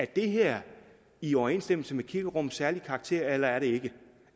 det her er i overensstemmelse med kirkerummets særlige karakter eller ikke